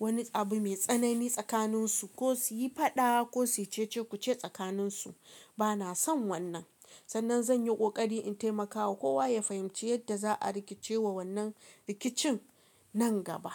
wani abu mai tsanani tsakaninsu ko su yi faɗa ko su yi cece-kuce tsakaninsu. Bana son wannan. Sannan zan yi ƙoƙari in taimakawa kowa ya fahimci yadda za a rikice wa wannan rikicin nan gaba.